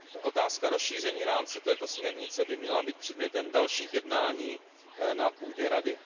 Otázka rozšíření rámce této směrnice by měla být předmětem dalších jednání na půdě Rady.